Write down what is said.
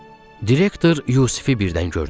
Direktor Yusifi birdən gördü.